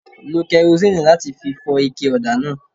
Lo kẹrosínìì láti fi fọ ike ọ̀dà náà.